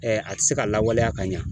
a tɛ se ka lawaleya ka ɲɛ